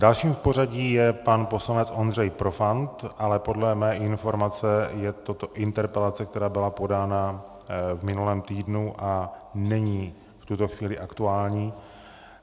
Dalším v pořadí je pan poslanec Ondřej Profant, ale podle mé informace je toto interpelace, která byla podána v minulém týdnu a není v tuto chvíli aktuální.